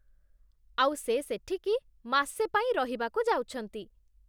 ଆଉ ସେ ସେଠିକି ମାସେ ପାଇଁ ରହିବାକୁ ଯାଉଛନ୍ତି ।